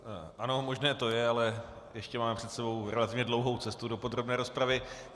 Ano, možné to je, ale ještě máme před sebou relativně dlouhou cestu do podrobné rozpravy.